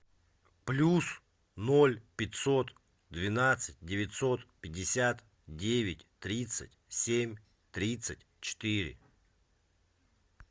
плюс ноль пятьсот двенадцать девятьсот пятьдесят девять тридцать семь тридцать четыре